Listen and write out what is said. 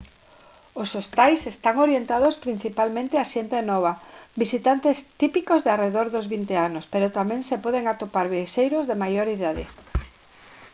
os hostais están orientados principalmente á xente nova visitantes típicos arredor dos 20 anos pero tamén se poden atopar viaxeiros de maior idade